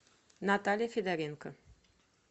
наталья федоренко